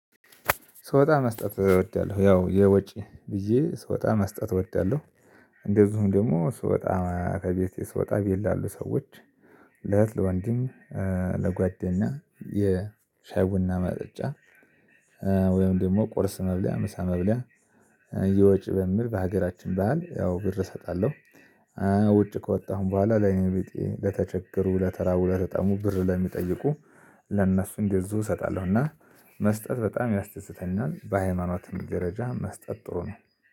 ስወጣ መስጠት እወዳለሁ ያው የወጪ ብዬ ስወጣ መስጠት እወዳለሁ። እንደዚሁም ደግሞ ስወጣ ከቤቴ ስወጣ ቤት ላሉ ሰዎች። ለእህት ለወንድም ለጓደኛ የሻይ ቡና ማጠጫ። ወይም ደግሞ ቁርስ መብለያ ምሳ መብለያ። የወጭ በምል በሀገራችን በዓል ያው ብር እሰጣለሁ። ውጭ ከወጣሁም በኋላ ለአይነቤጤ ለተቸገሩ ለተራቡ ለተጠሙ ብር ለሚጠይቁ ለእነሱ እንደዚሁ እሰጣለሁና። መስጠት በጣም ያስተስተኛል በሃይማኖት ደረጃ መስጠት ጥሩ ነው